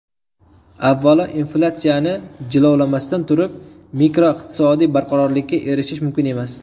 Avvalo, inflyatsiyani jilovlamasdan turib, makroiqtisodiy barqarorlikka erishish mumkin emas.